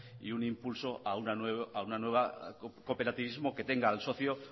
y un impulso a un nuevo cooperativismo que tenga al socio